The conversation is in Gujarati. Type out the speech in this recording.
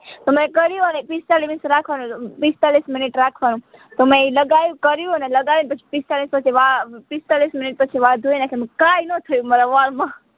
જાયતો મે કર્યું અને પિસ્તાલીસ મિનીટ રાખવાનું હતું પિસ્તાલીસ મિનીટ રાખવાનું તો મે ઈ લગાયું કર્યું અને લગાવી પછી પિસ્તાલીસ પછી વા પિસ્તાલીસ મિનીટ પછી વાળ ધોઈ નાખ્યા કાઈ ના થયું મારા વાળ માં